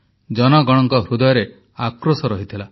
ଜନ ଗଣଙ୍କ ହୃଦୟରେ ଆକ୍ରୋଶ ରହିଥିଲା